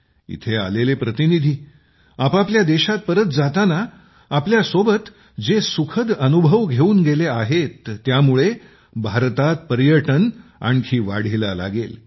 इथे आलेले प्रतिनिधी आपापल्या देशात परत जाताना आपल्या सोबत जे सुखद अनुभव घेऊन गेले आहेत त्यामुळे भारतात पर्यटन आणखी वाढीला लागेल